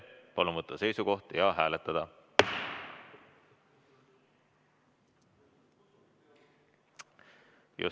Palun võtta seisukoht ja hääletada!